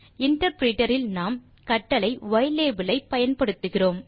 interpreter இல் நாம் கட்டளை ylabel ஐ பயன்படுத்துகிறோம்